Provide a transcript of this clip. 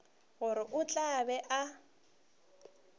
gore o tla be a